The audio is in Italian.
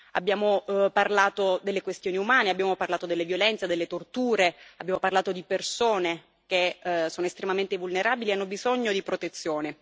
Abbiamo parlato delle questioni umanitarie, abbiamo parlato delle violenze, delle torture, abbiamo parlato di persone che sono estremamente vulnerabili e hanno bisogno di protezione.